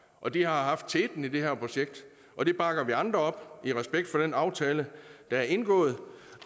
og de har haft teten i det her projekt og det bakker vi andre op i respekt for den aftale der er indgået